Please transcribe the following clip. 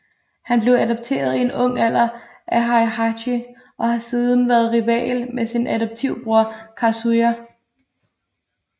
Han blev adopteret i en ung alder af Heihachi og har siden været rival med sin adoptiv bror Kazuya